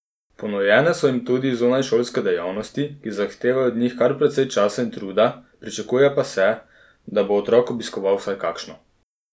Ponujene so jim tudi zunajšolske dejavnosti, ki zahtevajo od njih kar precej časa in truda, pričakuje pa se, da bo otrok obiskoval vsaj kakšno.